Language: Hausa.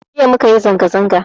Jiya mukayi zanga-zanga